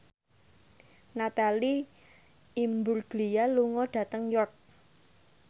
Natalie Imbruglia lunga dhateng York